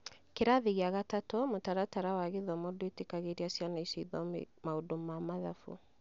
kĩrathi kia gatatũ, mũtaratara wa gĩthomo ndũĩtĩkagĩria ciana icio cithome maundu ma mathabu